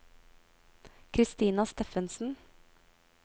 Christina Steffensen